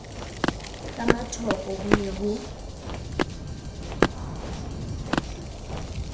ka mathoko ho ne ho